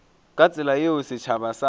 ka tsela yeo setšhaba sa